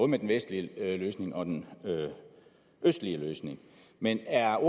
med den vestlige løsning og den østlige løsning men er